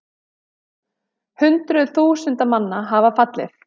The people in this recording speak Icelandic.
Hundruð þúsunda manna hafa fallið